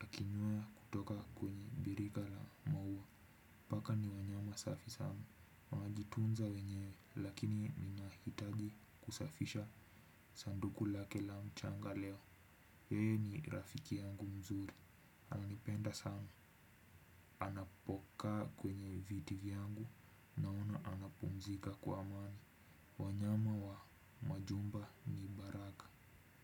akinywa kutoka kwenye birika la maua. Paka ni wanyama safi sana. Wanajitunza wenyewe lakini wanahitaji kusafisha sanduku lake la mchanga leo. Yeye ni rafiki yangu mzuri. Ananipenda sana. Anapokaa kwenye viti vyangu. Naona anapumzika kwa amani. Wanyama wa majumba ni baraka.